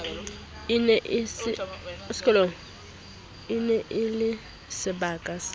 e ne e le sebaka